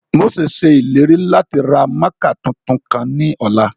Mose ṣe ileri lati ra mạạkạ tuntun kan ni ọla.